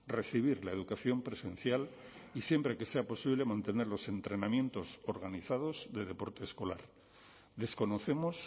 recibir la educación presencial y siempre que sea posible mantener los entrenamientos organizados de deporte escolar desconocemos